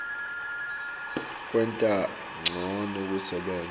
kwenta ncono kusebenta